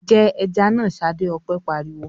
"Jẹ ẹja náà, Ṣadé!" Ọpẹ́ pariwo.